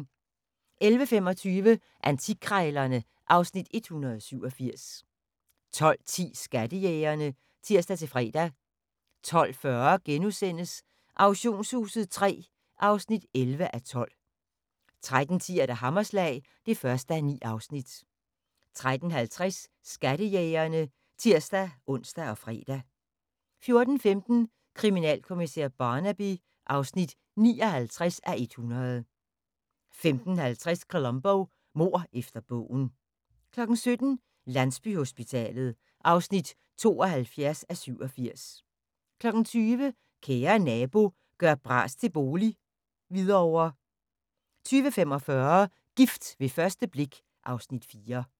11:25: Antikkrejlerne (Afs. 187) 12:10: Skattejægerne (tir-fre) 12:40: Auktionshuset III (11:12)* 13:10: Hammerslag (1:9) 13:50: Skattejægerne (tir-ons og fre) 14:15: Kriminalkommissær Barnaby (59:100) 15:50: Columbo: Mord efter bogen 17:00: Landsbyhospitalet (72:87) 20:00: Kære Nabo – gør bras til bolig - Hvidovre 20:45: Gift ved første blik (Afs. 4)